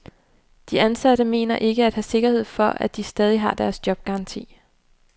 De ansatte mener ikke at have sikkerhed for, at de stadig har deres jobgaranti.